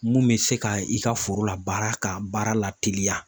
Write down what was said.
Mun bɛ se ka i ka foro la baara ka baara la teliya